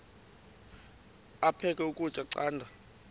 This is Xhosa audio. aphek ukutya canda